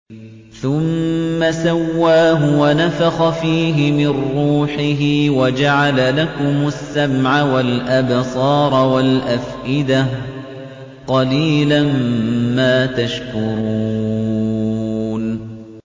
ثُمَّ سَوَّاهُ وَنَفَخَ فِيهِ مِن رُّوحِهِ ۖ وَجَعَلَ لَكُمُ السَّمْعَ وَالْأَبْصَارَ وَالْأَفْئِدَةَ ۚ قَلِيلًا مَّا تَشْكُرُونَ